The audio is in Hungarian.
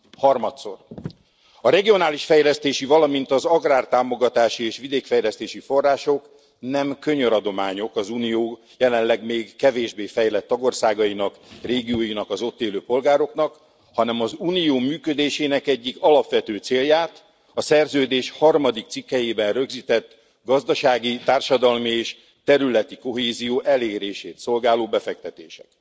Harmadszor, a regionális fejlesztési, valamint az agrártámogatási és vidékfejlesztési források nem könyöradományok az Unió jelenleg még kevésbé fejlett tagországainak, régióinak, az ott élő polgároknak, hanem az Unió működésének egyik alapvető célját, a szerződés harmadik cikkelyében rögzített gazdasági, társadalmi és területi kohézió elérését szolgáló befektetések.